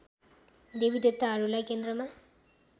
देवी देवताहरूलाई केन्द्रमा